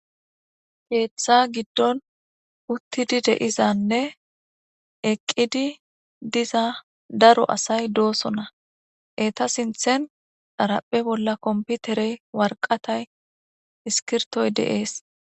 Keeththa giddon uttidi deizanne eqqidi diza daro asay doosona eta sinthen dharapphe bolla komputerey warqatay iskirtoy deees.